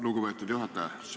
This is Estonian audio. Lugupeetud juhataja!